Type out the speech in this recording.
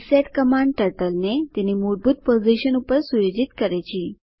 reset command ટર્ટલને તેની મૂળભૂત પોઝિશન પર સુયોજિત કરે છે